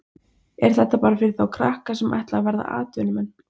Er þetta bara fyrir þá krakka sem ætla að verða atvinnumenn?